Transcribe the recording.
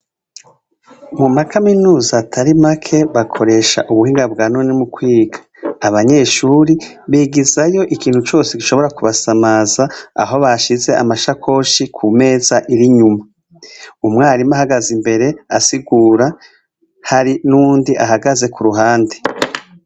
Mu ma kaminuza atari make bakoresha ubuhinga bwa none mu kwiga. Abanyeshuri bigizayo ikintu cose gishobora kubasamaza aho bashize amashakoshi ku meza iri inyuma. Umwarimu ahagaze imbere asigura, hari n'uwundi ahagaze ku ruhande.